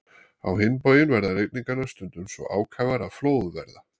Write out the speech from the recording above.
Á hinn bóginn verða rigningarnar stundum svo ákafar að flóð verða.